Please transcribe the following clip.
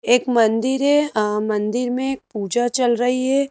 एक मंदिर है मंदिर में अम् पूजा चल रही है।